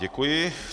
Děkuji.